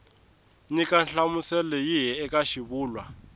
nyika nhlamuselo yihi eka xivulwa